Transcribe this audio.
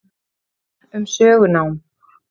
Greinasafn um sögunám.